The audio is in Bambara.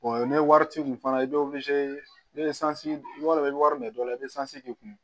ni wari t'i kun fana i bɛ ni sanji b'a dɔn i bɛ wari minɛ dɔw la i bɛ sanz i kun